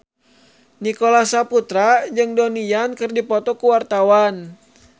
Nicholas Saputra jeung Donnie Yan keur dipoto ku wartawan